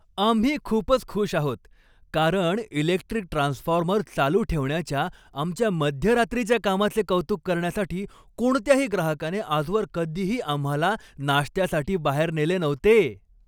आम्ही खूपच खुश आहोत, कारण इलेक्ट्रिक ट्रान्सफॉर्मर चालू ठेवण्याच्या आमच्या मध्यरात्रीच्या कामाचे कौतुक करण्यासाठी कोणत्याही ग्राहकाने आजवर कधीही आम्हाला नाश्त्यासाठी बाहेर नेले नव्हते.